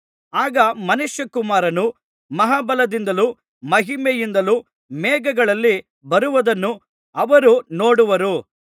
ಆಗ ಮನುಷ್ಯಕುಮಾರನು ಮಹಾಬಲದಿಂದಲೂ ಮಹಿಮೆಯಿಂದಲೂ ಮೇಘಗಳಲ್ಲಿ ಬರುವುದನ್ನು ಅವರು ನೋಡುವರು